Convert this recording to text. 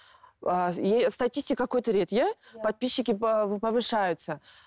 ыыы статистика көтереді иә подписчики повышаются